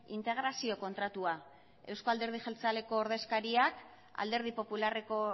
integrazio kontratua euzko alderdi jeltzaleko ordezkariak alderdi popularreko